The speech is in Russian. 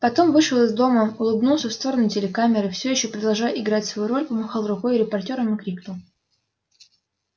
потом вышел из дома улыбнулся в сторону телекамеры всё ещё продолжая играть свою роль помахал рукой репортёрам и крикнул